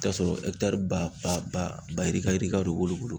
T'a sɔrɔ ba yirika yirika de b'olu bolo.